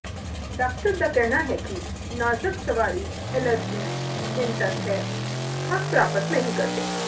doctor ਦਾ ਕਹਿਣਾ ਹੈ ਕਿ ਨਾਜ਼ਕ ਸਵਾਰੀ ਐਲਰਜੀ ਰਿਨਟਸ ਹੈ ਥੱਕ ਪ੍ਰਾਪਤ ਨਹੀ ਕਰਦੇ